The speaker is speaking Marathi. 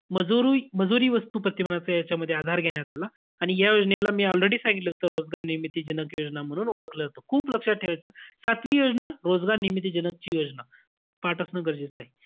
माजुरोई~ मजुरी वस्तू प्रतिमानाचा या मध्ये आधार घेण्यात आला. आणि योजनेला मी already सांगितलं होतं. रोजगार निर्मिती जनक योजना म्हणून ओळखलं जातं. खूप लक्षात ठेवायचं. सातवी योजना, रोजगार निर्मिती जनकची योजना, पाठ असणं गरजेचं आहे.